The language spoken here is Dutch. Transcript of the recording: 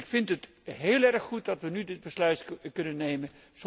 terug. Ik vind het heel erg goed dat wij nu dit besluit kunnen